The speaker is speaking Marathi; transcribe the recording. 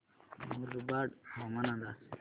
मुरबाड हवामान अंदाज